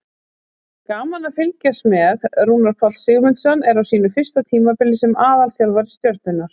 Gaman að fylgjast með: Rúnar Páll Sigmundsson er á sínu fyrsta tímabili sem aðalþjálfari Stjörnunnar.